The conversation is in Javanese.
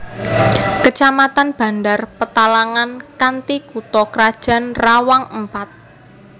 Kecamatan Bandar Petalangan kanthi kutha krajan Rawang Empat